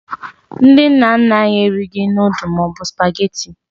Ndị nna nna anyị erighi nudu maọbụ spagetị